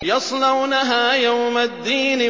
يَصْلَوْنَهَا يَوْمَ الدِّينِ